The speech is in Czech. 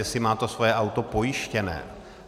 Jestli má to svoje auto pojištěné.